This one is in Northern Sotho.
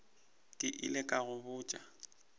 ke ile ka go botša